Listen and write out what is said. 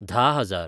धा हजार